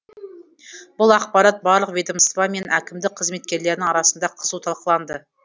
бұл ақпарат барлық ведомство мен әкімдік қызметкерлерінің арасында қызу талқыланды